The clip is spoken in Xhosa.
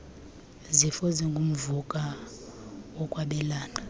zifo zingumvuka wokwabelana